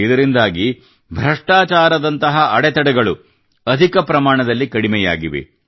ಇದರಿಂದಾಗಿ ಭ್ರಷ್ಟಚಾರದಂತಹ ಅಡಚಣೆಗಳು ಅಧಿಕ ಪ್ರಮಾಣದಲ್ಲಿ ಕಡಿಮೆಯಾಗಿವೆ